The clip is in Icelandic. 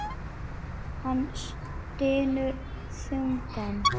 Hann stynur þungan.